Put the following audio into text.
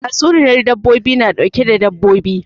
Tatsuniyan dabbobi na ɗauke da dabbobi